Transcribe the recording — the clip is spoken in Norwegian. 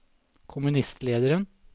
kommunistlederen